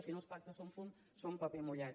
si no els pactes són fum són paper mullat